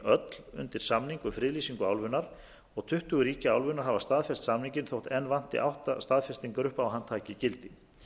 rúmlega undir samning um friðlýsingu álfunnar og tuttugu ríki álfunnar hafa staðfest samninginn þótt enn vanti átta staðfestingar upp á að hann taki gildi